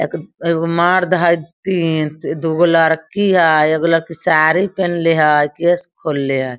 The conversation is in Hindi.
अग एगो मर्द हई तीन दुगो लड़की हई एगो लड़की साड़ी पहले हई केस खोलले हई।